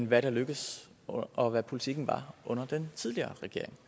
hvad der lykkedes og hvad politikken var under den tidligere regering